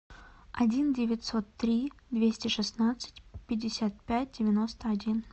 один девятьсот три двести шестнадцать пятьдесят пять девяносто один